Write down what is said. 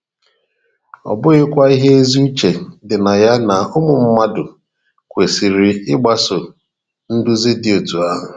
Ọ bụghịkwa ihe ezi uche dị na ya na ụmụ mmadụ kwesịrị ịgbaso nduzi dị otú ahụ?